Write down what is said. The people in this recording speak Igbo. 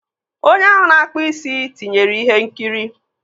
Onye ahụ na-akpụ isi tinyere ihe nkiri.